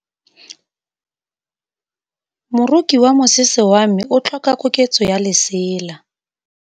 Moroki wa mosese wa me o tlhoka koketsô ya lesela.